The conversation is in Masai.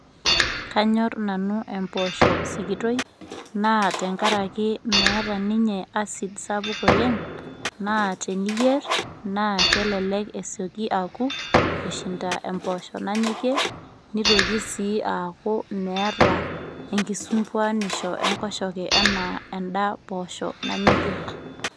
kanyor nanu emposho sikitoi , naa tenkaraki meeta ninye acid sapuk oleng , naa teniyier naa kelelek esioki aku kushinda empoosho nanyokie , nitoki sii aaku meeta enkisumpuanisho enkoshoke anaa enda poosho nanyokie.